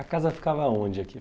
A casa ficava onde aqui?